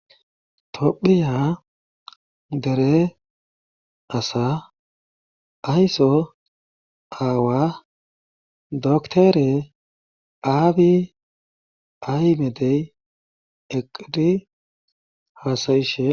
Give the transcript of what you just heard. Tophiya dere asa ayso aawa doktere aabi aymedey eqidi haasayishe.